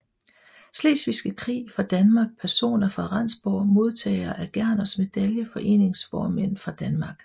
Slesvigske Krig fra Danmark Personer fra Rendsborg Modtagere af Gerners Medalje Foreningsformænd fra Danmark